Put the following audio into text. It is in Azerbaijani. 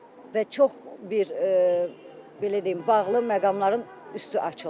Və çox bir belə deyim bağlı məqamların üstü açıldı.